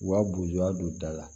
U ka boyan don da la